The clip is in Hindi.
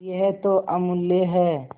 यह तो अमुल्य है